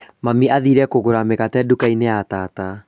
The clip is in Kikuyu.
Mami athire kũgũra mĩgate nduka-inĩ ya tata